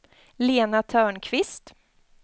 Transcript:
Lena Törnqvist